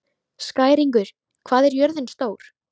Skæringur, hvað er jörðin stór?